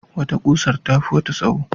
Wata kusar tafi wata tsawo.